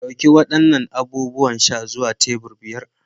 Ɗauki waɗannan abubuwan sha zuwa tebur biyar.